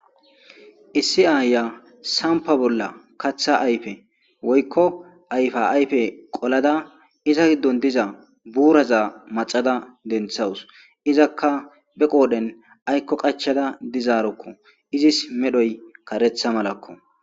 Isi ayiya sampa bolla katha ayfe woyko ayfa ayfe qolada iza gidon diza buuraza maxada denthawusi, izaka be qodhen ayko qachada dizaroko, izis medhoy karetha malako